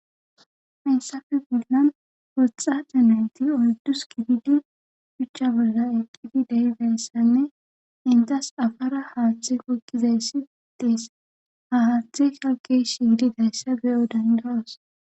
Hayssafe bollan woxxa dhinenti oddus kididi chuchcha bolla eqqidi dabeyssanne intas afara haaththe koykqizays si itees ha haaththe shalqe shiyidi dayssa beyo danjaos.